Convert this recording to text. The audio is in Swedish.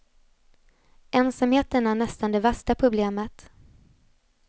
Ensamheten är nästan det värsta problemet.